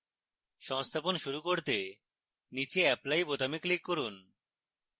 সংস্থাপন শুরু করতে নীচে apply বোতামে click করুন